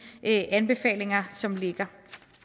anbefalinger som ligger